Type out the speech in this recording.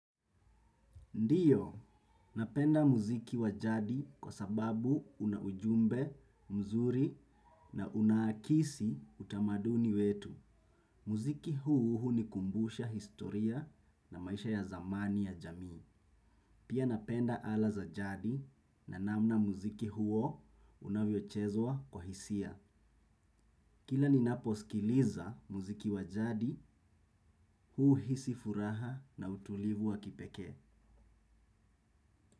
Ndiyo, napenda muziki wajadi kwa sababu una ujumbe, mzuri na unaakisi utamaduni wetu. Muziki huu hunikumbusha historia na maisha ya zamani ya jamii. Pia napenda ala za jadi na namna muziki huo unavyochezwa kwa hisia. Kila ninaposkiliza muziki wa jadi huuhisi furaha na utulivu wa kipekee.